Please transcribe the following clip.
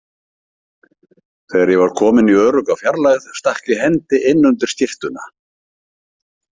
Þegar ég var kominn í örugga fjarlægð stakk ég hendi inn undir skyrtuna.